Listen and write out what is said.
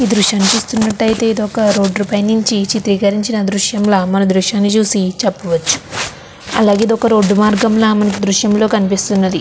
ఈ దృశ్యాన్ని చూస్తూ ఉన్నట్లయితే ఇది ఒక రోడ్డు పై నుంచి చిత్రీకరించిన దృశ్యం లాగా మనమే దృశ్యాన్ని చూసి చెప్పవచ్చు. చాలా ఏదో ఒక రోడ్డు మార్గం దృశ్యంలో కనిపిస్తూ ఉన్నది.